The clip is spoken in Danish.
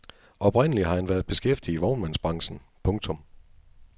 Oprindelig har han været beskæftiget i vognmandsbranchen. punktum